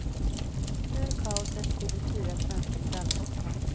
Ur kaoset kliver fyra svenska medaljhopp fram.